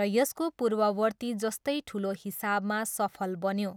र यसको पूर्ववर्ती जस्तै ठुलो हिसाबमा सफल बन्यो।